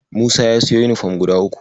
Musa ya siyo yunifom guda uku.